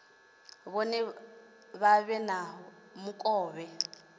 vhone vha vhe na mukovhe